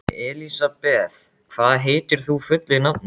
Elisabeth, hvað heitir þú fullu nafni?